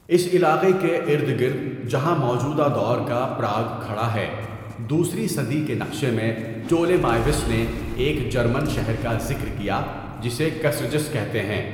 اس علاقے کے ارد گرد جہاں موجودہ دور کا پراگ کھڑا ہے، دوسری صدی کے نقشے میں ٹولےمائیوس نے ایک جرمن شہر کا ذکر کیا جسے کسرجس کہتے ہیں۔